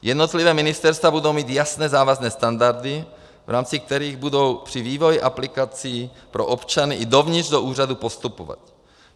Jednotlivá ministerstva budou mít jasné závazné standardy, v rámci kterých budou při vývoji aplikací pro občany i dovnitř do úřadu postupovat.